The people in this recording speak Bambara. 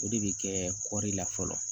O de bɛ kɛ kɔri la fɔlɔ